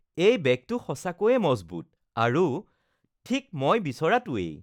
এই বেগটো সঁচাকৈয়ে মজবুত আৰু ঠিক মই বিচৰাটোৱেই